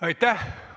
Aitäh!